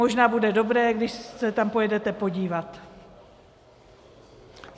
Možná bude dobré, když se tam pojedete podívat.